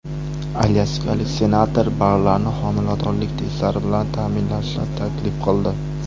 Alyaskalik senator barlarni homiladorlik testlari bilan ta’minlashni taklif qildi.